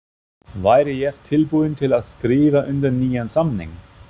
Væri ég tilbúinn til að skrifa undir nýjan samning?